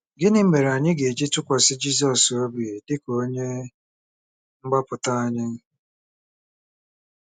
Gịnị mere anyị ga-eji tụkwasị Jizọs obi dị ka Onye Mgbapụta anyị?